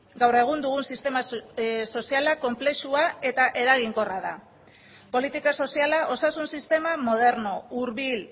gaur egun dugun sistema soziala konplexua eta eraginkorra da politika soziala osasun sistema moderno hurbil